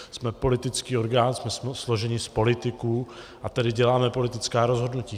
Jsme politický orgán, jsme složeni z politiků, a tedy děláme politická rozhodnutí.